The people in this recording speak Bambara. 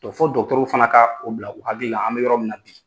fo dɔgɔtɔrɔw fana ka o bila u hakilila an bɛ yɔrɔ min na bi